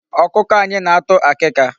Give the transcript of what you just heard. Ọkụkọ anyị na-atụ akịka.